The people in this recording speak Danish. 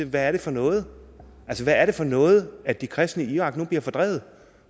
hvad er det for noget altså hvad er det for noget at de kristne i irak nu bliver fordrevet